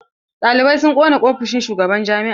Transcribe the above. Ɗalibai sun ƙona ofishin shugaban jami'a.